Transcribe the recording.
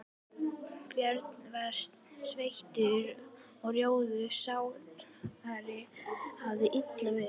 Björn var sveittur og rjóður, sárið hafðist illa við.